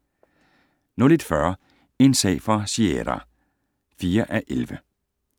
01:40: En sag for Sierra (4:11)